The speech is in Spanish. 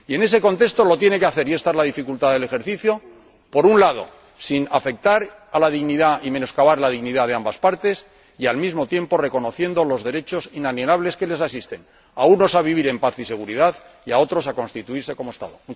Y en ese contexto lo tiene que hacer ―y ésta es la dificultad del ejercicio―, por un lado, sin afectar a la dignidad ni menoscabar la dignidad de ambas partes y, al mismo tiempo, reconociendo los derechos inalienables que les asisten, a unos a vivir en paz y seguridad y a otros a constituirse como Estado.